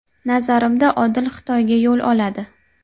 Nazarimda, Odil Xitoyga yo‘l oladi.